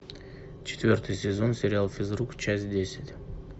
четвертый сезон сериал физрук часть десять